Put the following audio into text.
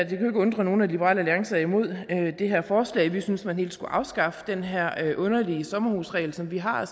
kan undre nogen at liberal alliance er imod det her forslag vi synes at man helt skulle afskaffe den her underlige sommerhusregel som vi har